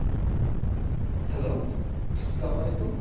hello আস-সালামু আলাইকুম